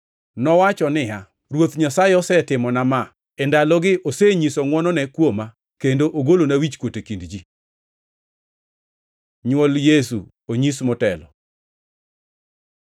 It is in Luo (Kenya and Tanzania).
Nowacho niya, “Ruoth Nyasaye osetimona ma. E ndalogi osenyiso ngʼwonone kuoma kendo ogolona wichkuot e kind ji.” Nywol Yesu onyis motelo